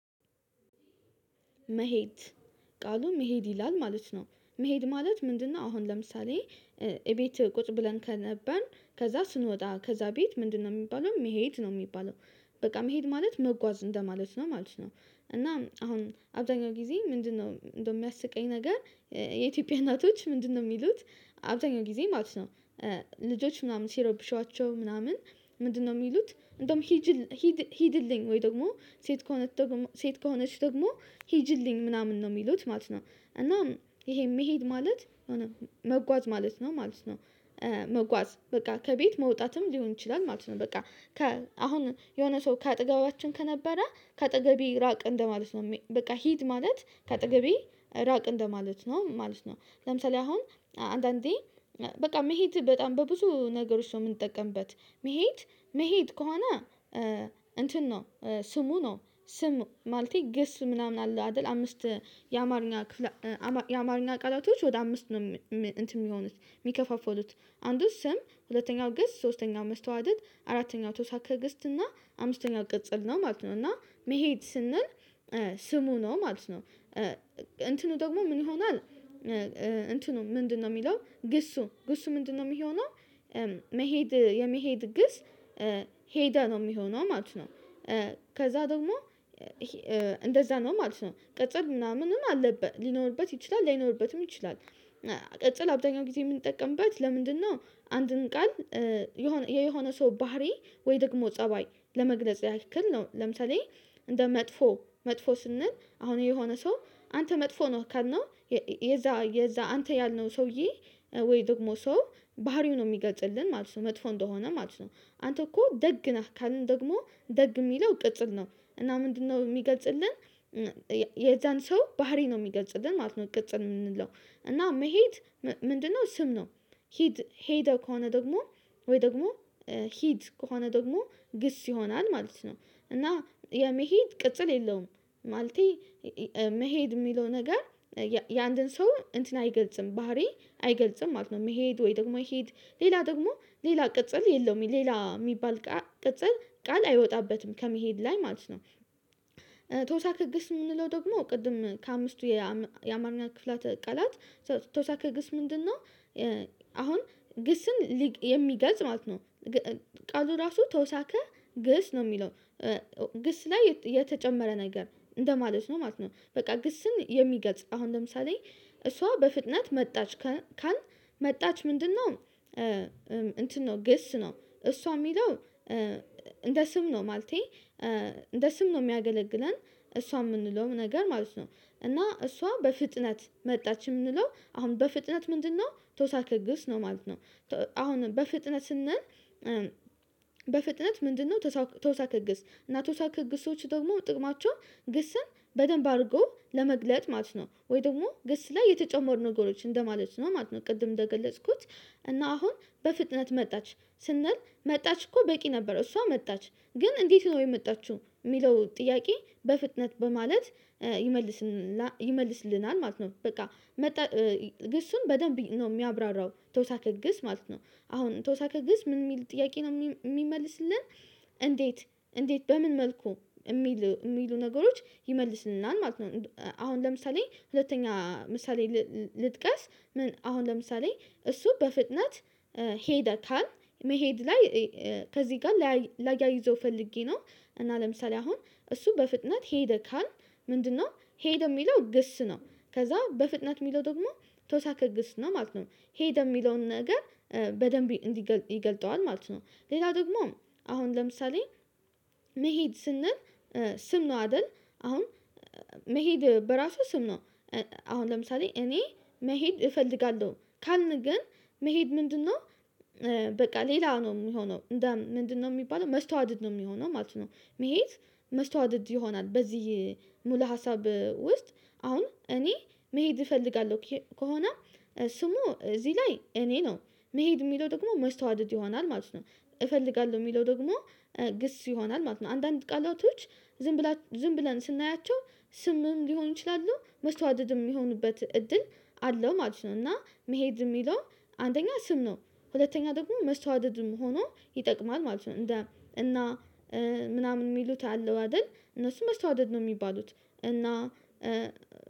መሄድ ቃሉ መሄድ ይላል ማለት ነው መሄድ ማለት ምንድነው? አሁን ለምሳሌ እቤት ቁጭ ብለን ከነበን ከዛ ስንወጣ ከዛ ቤት ምንድነው የሚባለው መሄድ ነው የሚባለው። በቃ መሄድ ማለት መጓዝ እንደማለት ነው ማለት ነው። እና አሁን አብዛኛው ጊዜ ምንድነው እንደ የሚያስቀኝ ነገር? የኢትዮጵያ እናቶች ምንድነው የሚሉት አብዛኛው ጊዜ ማለት ነው። ልጆች ምናምን ሲሮብሿቸው ምናምን ምንድነው የሚሉት እንደውም ሂጅ? ሂድልኝ ወይ ደግሞ ሴት ከሆነ ሴት ከሆነች ደግሞ ሄጅልኝ ምናምን ነው የሚሉት ማለት ነው። እና ይሄ መሄድ ማለት መጓዝ ማለት ነው ማለት ነው። መጓዝ በቃ ከቤት መውጣትም ሊሆን ይችላል ማለት ነው በቃ። አሁን የሆነ ሰው ከአጠገባችን ከነበረ ከአጠገቤ ራቅ እንደማለት ነው። በቃ ሂድ ማለት ከአጠገቤ ራቅ እንደማለት ነው ማለት ነው። ለምሳሌ አሁን አንዳንዴ በቃ መሄድ በጣም በብዙ ነገሮች ሰው የምንጠቀምበት መሄድ መሄድ ከሆነ እንትን ነው። ስሙ ነው ስም ማለቴ ግስ ምናምን አለ አይደል? አምስት የአማርኛ ክፍል የአማርኛ ቃላቶች ወደ አምስት ነው። እንትን የሚሆኑት የሚከፋፈሉት አንዱ ስም ሁለተኛው ግስ ሶስተኛው መስተዋደድ አራተኛው ተወሳክህ ግስት እና አምስተኛው ቅጽል ነው ማለት ነው። እና መሄድ ስንል ስሙ ነው ማለት ነው። እንትኑ ደግሞ ምን ይሆናል? እንትኑ ምንድነው? የሚለው ግሱ ግሱ ምንድነው የሚሆነው? መሄድ የመሄድ ግስ ሄደ ነው የሚሆነው ማለት ነው። ከዛ ደግሞ እንደዛ ነው ማለት ነው ቅጽል ምናምንም አለበት ሊኖርበት ይችላል ላይኖርበትም ይችላል። ቅጽል አብዛኛው ጊዜ የምንጠቀምበት ለምንድነው? አንድን ቃል የሆነ የሆነ ሰው ባህሪ ወይ ደግሞ ፀባይ ለመግለጽ ያክል ነው። ለምሳሌ እንደ መጥፎ መጥፎ ስንል አሁን የሆነ ሰው አንተ መጥፎ ነው ካልነው የዛ የዛ አንተ ያልነው ሰውዬ ወይ ደግሞ ሰው ባህሪው ነው የሚገፅልን ማለት ነው መጥፎ እንደሆነ ማለት ነው። አንተ እኮ ደግ ነህ ካልን ደግሞ ደግ የሚለው ቅጽል ነው። እና ምንድነው የሚገጽልን? የዛን ሰው ባህሪ ነው የሚገልጽልን ማለት ነው ቅጽ የምንለው። እና መሄድ ምንድነው ስም ነው። ሂድ ሄደ ከሆነ ደግሞ ወይ ደግሞ ሂድ ከሆነ ደግሞ ግስ ይሆናል ማለት ነው። እና የመሄድ ቅጽል የለውም። ማለቴ መሄድ የሚለው ነገር የአንድን ሰው እንትን አይገልጽም ባህሪ አይገልጽም ማለት ነው። መሄድ ወይ ደግሞ ሄድ ሌላ ደግሞ ሌላ ቅጽል የለውም ሌላ የሚባል ቅጽል ቃል አይወጣበትም ከመሄድ ላይ ማለት ነው። ተውሳከ ግስ የምንለው ደግሞ ቅድም ከአምስቱ የአማርኛ ክፍላተ ቃላት ተውሳከ ግስ ምንድነው? አሁን ግስን የሚገልጽ ማለት ነው። ቃሉ ራሱ ተውሳከ ግስ ነው የሚለው። ግስ ላይ የተጨመረ ነገር እንደማለት ነው ማለት ነው። በቃ ግስን የሚገጽ አሁን ለምሳሌ እሷ በፍጥነት መጣች ካልን መጣች ምንድነው? እንትን ነው ግስ ነው እሷ የሚለው። እንደ ስም ነው ማለቴ እንደ ስም ነው የሚያገለግለን እሷ የምንለውም ነገር ማለት ነው። እና እሷ በፍጥነት መጣች የምንለው አሁን በፍጥነት ምንድነው ተውሳከ ግስ ነው ማለት ነው። አሁን በፍጥነትህ ነን በፍጥነት ምንድነው? ተውሳከ ግስ እና ተውሳከ ግሶች ደግሞ ጥቅማቸው ግስን በደንብ አድርጎ ለመግለጽ ማለት ነው ወይ ደግሞ ግስ ላይ የተጨመሩ ነገሮች እንደማለት ነው ማለት ነው። ቅድም እንደገለጽኩት። እና አሁን በፍጥነት መጣች ስንል መጣች እኮ በቂ ነበር እሷ መጣች ግን እንዴት ነው የመጣችው? የሚለው ጥያቄ በፍጥነት በማለት ይመልስልናል ማለት ነው። በቃ። ግሱን በደንብ ነው የሚያብራራው ተወሳከ ግስ ማለት ነው። አሁን ተወሳከ ግስ ምን የሚል ጥያቄ ነው የሚመልስልን? እንዴት እንዴት በምን መልኩ የሚሉ የሚሉ ነገሮች ይመልስልናል ማለት ነው። አሁን ለምሳሌ ሁለተኛ ምሳሌ ልጥቀስ ምን አሁን ለምሳሌ እሱ በፍጥነት። ሄደ ካልን መሄድ ላይ ከዚህ ጋር ላያይዘው ፈልጌ ነው። እና ለምሳሌ አሁን እሱ በፍጥነት ሄደ ካል ምንድነው ሄደው የሚለው ግስ ነው። ከዛ በፍጥነት የሚለው ደግሞ ተውሳከ ግስ ነው ማለት ነው። ሄደ በየሚለውን ነገር በደንብ እንዲገልጠዋል ማለት ነው። ሌላ ደግሞ አሁን ለምሳሌ። መሄድ ስንል ስም ነው አይደል አሁን መሄድ በራሱ ስም ነው። አሁን ለምሳሌ እኔ መሄድ እፈልጋለሁ ካልን ግን መሄድ ምንድነው? በቃ ሌላ ነው የምሆነው እንደ ምንድነው የሚባለው መስተዋደድ ነው የሚሆነው ማለት ነው። መሄድ መስተዋደድ ይሆናል። በዚህ ሙሉ ሀሳብ ውስጥ አሁን እኔ መሄድ እፈልጋለሁ ከሆነ። ስሙ እዚህ ላይ እኔ ነው። መሄድ የሚለው ደግሞ መስተዋድድ ይሆናል ማለት ነው። እፈልጋለሁ የሚለው ደግሞ ግስ ይሆናል ማለት ነው። አንዳንድ ቃላቶች። ዝም ብለን ስናያቸው ስምም ሊሆን ይችላሉ መስዋደድም የሚሆኑበት እድል አለው ማለት ነው። እና መሄድ የሚለው አንደኛ ስም ነው። ሁለተኛ ደግሞ መስተዋደድም ሆኖ ይጠቅማል ማለት ነው። እና ምናምን የሚሉት አለው አይደል? እነሱም መስታወደድ ነው የሚባሉት። እና